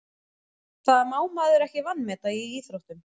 Það má maður ekki vanmeta í íþróttum.